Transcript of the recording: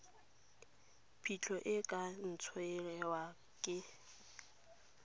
phitlho e ka ntshiwa ke